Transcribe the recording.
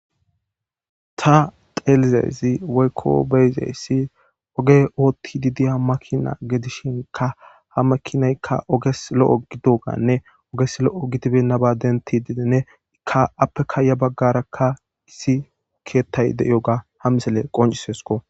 ta xelizeezi woykko beyzeyssi oge ootti didiya makina gedishinka ha makinaykka oges lo7o gidoganne oges lo7o gidibennaba denti didenne ikka appekaya baggarakka issi keettay de7iyoga ha misele qoncisesko